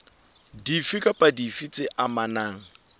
dife kapa dife tse amanang